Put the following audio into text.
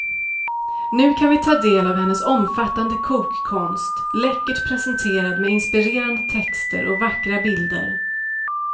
Nu kan vi ta del av hennes omfattande kokkonst, läckert presenterad med inspirerande texter och vackra bilder.